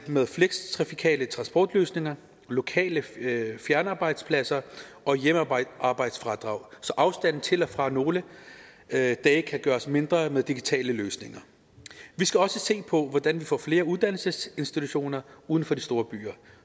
med flekstrafikale transportløsninger lokale fjernarbejdspladser og hjemmearbejdsfradrag så afstanden til og fra nogle dage kan gøres mindre med digitale løsninger vi skal også se på hvordan vi får flere uddannelsesinstitutioner uden for de store byer